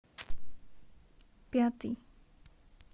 пятый